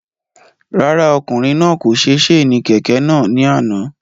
Rárá, ọkùnrin náà kò se séènì kẹ̀kẹ́ náà ni àná